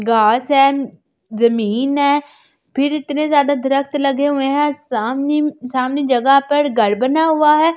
घास है जमीन है फिर इतने ज्यादा दरक्त लगे हुए हैं सामने सामने जगह पर घर बना हुआ है।